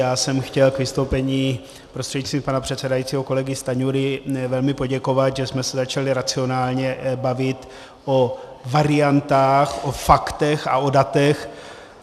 Já jsem chtěl k vystoupení prostřednictvím pana předsedajícího kolegy Stanjury velmi poděkovat, že jsme se začali racionálně bavit o variantách, o faktech a o datech.